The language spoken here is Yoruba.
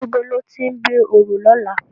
Nibó lòti n gbé óró lòlá?